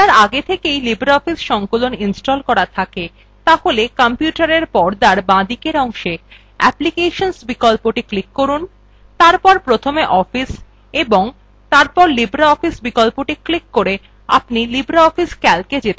যদি আপনার আগে থেকেই libreoffice সংকলন ইনস্টল করা থাকে তাহলে কম্পিউটারএর পর্দার বাঁদিকের অংশে applications বিকল্পটি ক্লিক করুন তারপর প্রথমে office এবং তারপর lofficeibreoffice বিকল্পটির উপর ক্লিক করে আপনি libreoffice calcএ যেতে পারেন